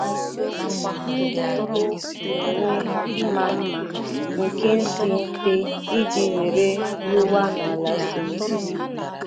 Ndị ugbo na-enwe mma mma nke dị mfe iji were rụwa n’ala siri ike.